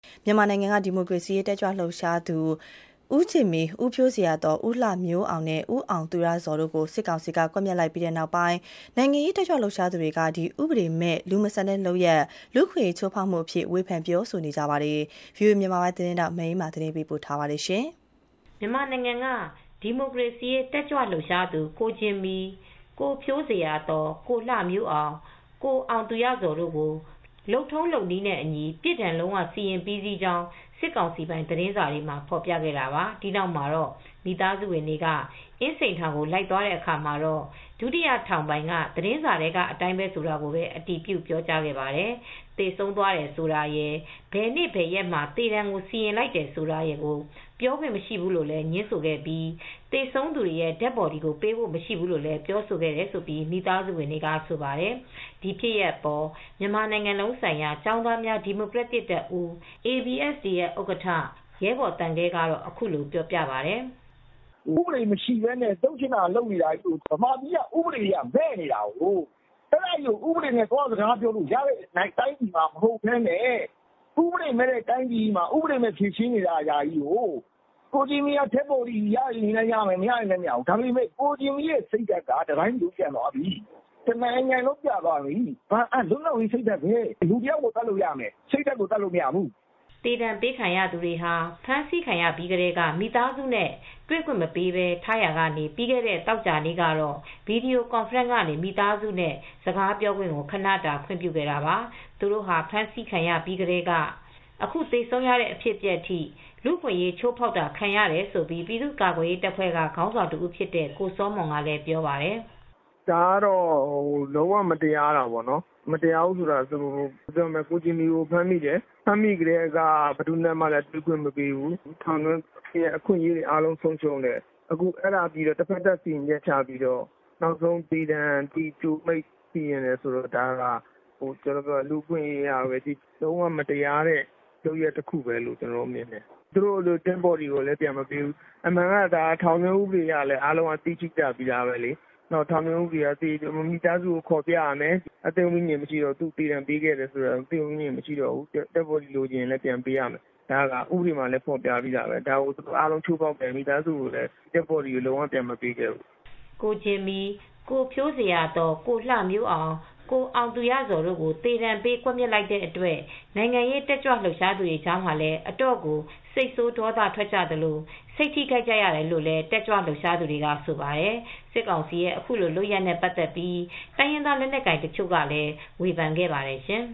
မြန်မာနိုင်ငံက ဒီမိုကရေစီရေးတက်ကြွလှုပ်ရှားသူ ကိုဂျင်မီ၊ ကိုဖြိုးဇေယျာသော်၊ ကိုလှမျိုးအောင်နဲ့ ကိုအောင်သူရဇော်တို့ကို စစ်ကောင်စီက ကွပ်မျက်လိုက်တာဟာဥပဒေမဲ့ လူမဆန်တဲ့လုပ်ရပ်၊ လူ့အခွင့်အရေးချိုးဖောက်မှုအဖြစ် နိုင်ငံရေးတက်ကြွလှုပ်ရှားသူတွေက ဝေဖန် ပြောဆိုကြပါတယ်။ ဒီသတင်းကို ဗွီအိုအေသတင်းထောက် မအေးအေးမာက သတင်းပေးပို့ထားပါတယ်။ မြန်မာနိုင်ငံက ဒီမိုကရေစီရေးတက်ကြွလှုပ်ရှားသူ ကိုဂျင်မီနဲ့ကိုဖြိုးဇေယျာသော် ကိုလှမျိုးအောင် ကိုအောင်သူရဇော်တို့ကို လုပ်ထုံးလုပ်နည်းနဲ့အညီ ပြစ်ဒဏ်လုံးဝ စီရင်ပြီးစီးကြောင်း စစ်ကောင်စီပိုင် သတင်းစာတွေမှာဖော်ပြခဲ့တာပါ။ အဲဒီသတင်းကြောင့် မိသားစုဝင်တွေက အင်းစိန်ထောင်ကိုလိုက်သွားတဲ့အခါမှာ ဒုတိယထောင်ပိုင်က သတင်းစာထဲကအတိုင်းပဲဆိုတာကိုပဲ အတည်ပြုပြောကြားပါတယ်။ သေဆုံးသွားတယ်ဆိုတာရယ်၊ ဘယ်နေ့ဘယ်ရက်မှာ သေဒဏ်စီရင်လိုက်တယ်ဆိုတာရယ်ကို ပြောခွင့်မရှိဘူးလို့ငြင်းဆိုခဲ့ပြီး သေဆုံးသူတွေရဲ့Dead Body ပေးဖို့မရှိဘူးလို့လည်း ပြောဆိုခဲ့တယ်လို့ မိသားစုဝင်တွေကဆိုပါတယ်။ ဒီလိုဖြစ်စဉ်အပေါ် မြန်မာနိုင်ငံလုံးဆိုင်ရာ ကျောင်းသားများဒီမိုကရက်တစ်တပ်ဦး ABSDF ဥက္ကဋ္ဌ ရဲဘော်သံခဲက အခုလိုပြောပါတယ်။ “ဥပဒေမရှိဘဲနဲ့လုပ်ချင်တာလုပ်နေကြတာချည်းပါ။ မြန်မာပြည်မှာက ဥပဒေက မဲ့နေတယ်။ ဥပဒေမရှိတဲ့တိုင်းပြည်မှာ ဥပဒေမရှိဘဲ ဖြေရှင်းနေကြတာပဲ။ ကိုဂျင်မီက Dead Body ရချင်လည်းရမယ်၊ မရချင်လည်းမရဘူး။ ကိုဂျင်မီတို့ရဲ့စိတ်ဓါတ်က တတိုင်းပြည်လုံးကို ပျံ့နှံ့သွားပြီ။ တနိုင်ငံလုံး ပျံ့နှံ့သွားပြီ။ လူတယော်ကိုသတ်ချင် သတ်လို့ရမယ်။ စိတ်ဓါတ်ကိုတော့ သတ်မရပါဘူး။” သေဒဏ်ပေးခံရသူတွေကို ဖမ်းဆီးခံရချိန်ကစလို့ မိသားစုနဲ့တွေ့ခွင့်မပေးဘဲထားရာကနေ ပြီးခဲ့တဲ့သောကြာနေ့ကတော့ ဗွီဒီယိုကွန်ဖရင့်ကနေ မိသားစုနဲ့စကားပြောဖို့ ခနတာခွင့်ပြုခဲ့တာပါ။ သူတို့ဟာ ဖမ်းဆီးခံရပြီးကတည်းက အခုသေဆုံးခဲ့ရတဲ့အဖြစ်အပျက်အထိ လူအခွင့်ရေးချိုးဖောက်ခံရတယ်လု့ိ ပြည်သူ့ကာကွယ်ရေးတပ်ဖွဲ့ကခေါင်းဆောင်တဦးဖြစ်တဲ့ ကိုစောမွန်ကလည်းပြောပါတယ်။ “ဒါကတော့ လုံးဝကို မတရားတာပါ။ ကိုဂျင်မီတို့ကိုဖမ်းမိပြီးကတည်းက ဘယ်သူနဲ့မှ ပေးမတွေ့ဘူး။ တွေ့ခွင့်မပေးဘူး။ ထောင်တွင်းအခွင့်အရေးတွေ ဆုံးရှုံးတယ်။ အခုပြီးတော့ တဖက်သတ် စီရင်ချက်ချပြီးတော့ နောက်ဆုံး သေဒဏ်ကိုစီရင်တယ်ဆိုတာကတော့ လူအခွင့်ရေးအရပဲကြည့်ကြည့်။ လုံးဝ မတရားတဲ့လုပ်ရပ်တခုပဲလို့ ကျနော်တို့ကမြင်တယ်။ Dead Body ကိုလည်း လုံးဝမပြန်မပေးဘူး။ အမှန်က ထောင်ဥပဒေအရ မိသားစုကိုခေါ်ပြရမယ်။ သေဒဏ်ပေးခဲ့တယ်ဆိုရင်တောင် အသက် ဝိဉာဉ်မရှိတဲ့ Dead Body ပြန်ပေးရမယ်။ ဒါကိုဥပဒေမှာလည်း ဖော်ပြပြီးသားပဲ။ ဒါကို အကုန်လုံးချိုးဖောက်တာပဲ။ Dead Body ကိုလည်း သူတို့ကလုံးဝ ပြန်မပေးခဲ့ဘူး။” ကိုဂျင်မီ၊ ကိုဖြိုးဇေယျာသော်၊ ကိုလှမျိုးအောင်၊ ကိုအောင်သူရဇော်တို့ကို သေဒဏ် ပေးကွက်မျက်လိုက်တဲ့အတွက် နိုင်ငံရေးတက်ကြွလှုပ်ရှားသူတွေကြားမှာ အတော်ကို စိတ်ဆိုးဒေါသထွက်ကြသလို စိတ်ထိခိုက်ကြရတယ်လို့လည်း တက်ကြွ လှုပ်ရှားသူတွေကဆိုပါတယ်။ စစ်ကောင်စီရဲ့အခုလိုလုပ်ရပ်နဲ့ ပတ်သက်ပြီး တိုင်းရင်းသားလက်နက်ကိုင်တချို့ကလည်း ဝေဖန်ခဲ့ပါတယ်ရှင်